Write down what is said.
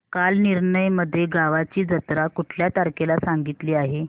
कालनिर्णय मध्ये गावाची जत्रा कुठल्या तारखेला सांगितली आहे